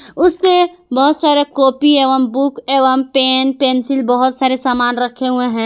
उसपे बहुत सारे कॉपी एवं बुक एवं पेन पेंसिल बहोत सारे सामान रखे हुए है।